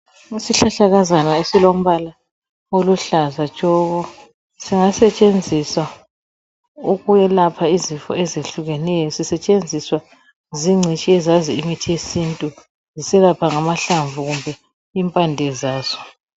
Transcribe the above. Isihlahlakazana esilombala oluhlaza tshoko, singasetshenziswa ukwelapha izifo ezehlukeneyo. Sisetshenziswa zingcitshi ezazi imithi yesintu ziselapha ngamahlamvu kumbe impande zaso.